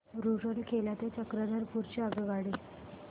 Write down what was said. रूरकेला ते चक्रधरपुर ची आगगाडी